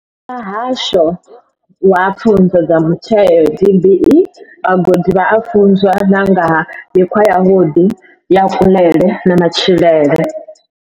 Muhasho wa Pfunzo dza Mutheo DBE, vhagudi vha a funzwa na nga ha mikhwa yavhuḓi ya kuḽele na matshilele.